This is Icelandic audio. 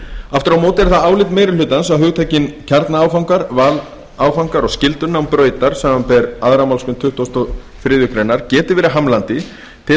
aftur á móti er það álit meiri hlutans að hugtökin kjarnaáfangar valáfangar og skyldunám brautar samanber aðra málsgrein tuttugustu og þriðju grein geti verið hamlandi til